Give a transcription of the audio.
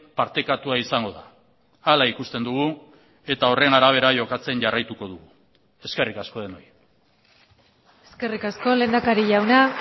partekatua izango da hala ikusten dugu eta horren arabera jokatzen jarraituko dugu eskerrik asko denoi eskerrik asko lehendakari jauna